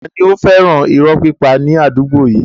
Tani ó fẹ́ràn irọ́ pípa ní àdúgbò yìí?